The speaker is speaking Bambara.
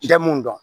Bɛɛ mun dɔn